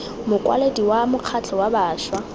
mokwaledi wa mokgatlho wa bašwa